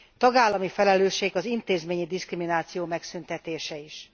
Tagállami felelősség az intézményi diszkrimináció megszüntetése is.